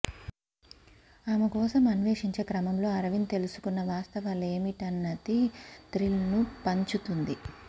ఆమె కోసం అన్వేషించే క్రమంలో అరవింద్ తెలుసుకున్న వాస్తవలేమిటన్నది థ్రిల్ను పంచుతుంది